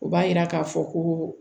O b'a yira k'a fɔ ko